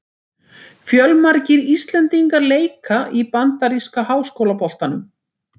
Fjölmargir íslendingar leika í bandaríska háskólaboltanum.